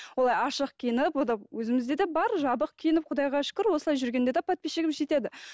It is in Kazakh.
олай ашық киініп ол да өзімізде де бар жабық киініп кұдайға шүкір осылай жүргенде де подписчигіміз жетеді